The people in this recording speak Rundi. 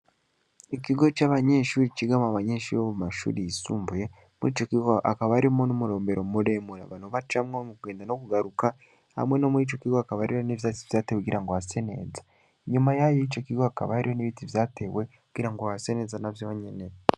Ikigo c'abanyeshure cigamwo abanyeshure bo mu mashure yisumbuye. Muri ico kigo hakaba harimwo n'umurombero muremure abantu bacamwo mu kugenda no kugaruka hamwe no muri ico kigo hakaba hariho ivyatsi vyatewe kugira ngo hase neza. Inyuma y'ico kigo hakaba hariho n'ibiti vyatewe kugira ngo hase neza navyo nyene.